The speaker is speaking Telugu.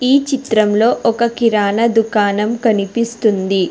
ఈ చిత్రంలో ఒక కిరాణా దుకాణం కనిపిస్తుంది.